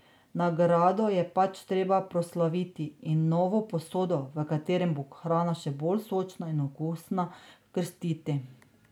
Nagrado je pač treba proslaviti in novo posodo, v kateri bo hrana še bolj sočna in okusna, krstiti.